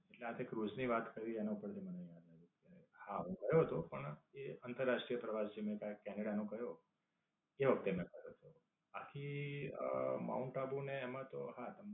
એટલે આ તે ક્રુઝ ની વાત કરી એના ઉપર થી મને યાદ આવ્યું. કે, હા હું ગયો હતો પણ એ આંતરરાષ્ટ્રીય પ્રવાસ જેમની સાથઈ કેનેડા હું ગયો એ વખતે ના છે. આખી અમ માઉન્ટ આબુ ને એમાં તો હા